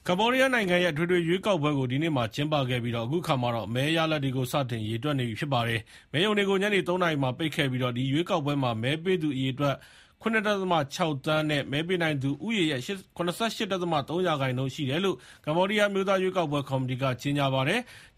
ကမ္ဘောဒီးယားနိုင်ငံရဲ့ အထွေထွေရွေးကောက်ပွဲကို ဒီနေ့မှာ ကျင်းပခဲ့ပြီးတော့ ၊ အခုအခါမှာ မဲရလဒ်တွေကို စတင်ရေတွက်နေပြီ ဖြစ်ပါတယ်။ မဲရုံတွေကို ညနေ ၃ နာရီမှာ ပိတ်ခဲ့ပြီးတော့ ဒီရွေးကောက်ပွဲမှာ မဲပေးသူအရေအတွက် ၇.၆ သန်းရှိပြီး မဲပေးနိုင်သူဦးရေရဲ့ ၇၈.၃ % ရှိတယ်လို့ အမျိုးသားရွေးကောက်ပွဲကော်မတီက ကြေညာပါတယ်။